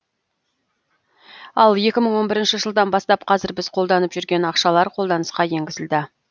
ал екі мың он бірінші жылдан бастап қазір біз қолданып жүрген ақшалар қолданысқа енгізілді